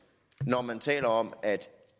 når man taler om at